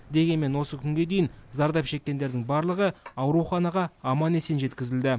дегенмен осы күнге дейін зардап шеккендердің барлығы ауруханаға аман есен жеткізілді